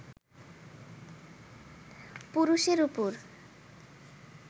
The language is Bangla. পুরুষের ওপর